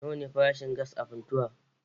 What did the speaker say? Nawa ne farashin gas a Funtuwa?